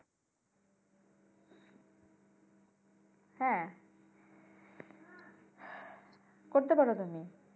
হ্যাঁ করতে পরো তুমি।